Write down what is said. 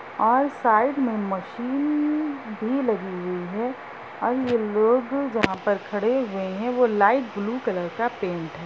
और साइड मे मशीन भी लगी हुई है और ये लोग जहाँ पर खड़े है वो लाइट ब्लु कलर का पेंट है।